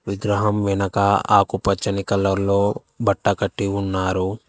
విగ్రహం వెనక ఆకుపచ్చని కలర్లో బట్ట కట్టి ఉన్నారు.